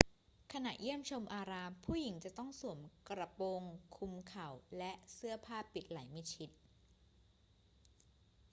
ขณะเยี่ยมชมอาราม ผู้หญิงจะต้องสวมกระโปรงคลุมเข่า และเสื้อผ้าปิดไหล่มิดชิด